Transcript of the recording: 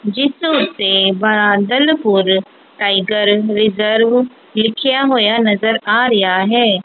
ਜਿੱਸ ਓੱਤੇ ਬਾਦਲ ਹੋਰ ਟਾਈਗਰ ਰਿਜ਼ਰਵ ਲਿਖੇਆ ਹੋਇਆ ਨਜ਼ਰ ਆ ਰਿਹਾ ਹੈ।